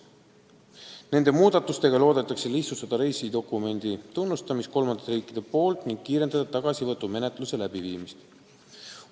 Nende muudatustega loodetakse lihtsustada reisidokumendi tunnustamist kolmandate riikide poolt ning kiirendada tagasivõtumenetluse läbiviimist.